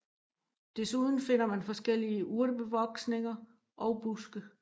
Desuden finder man forskellige urtebevoksninger og buske